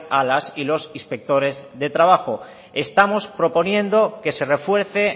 a las y los inspectores de trabajo estamos proponiendo que se refuerce